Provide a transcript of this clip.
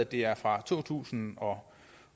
det er fra to tusind og